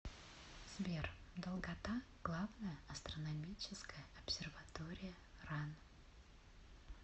сбер долгота главная астрономическая обсерватория ран